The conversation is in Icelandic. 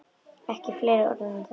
Ekki fleiri orð um það!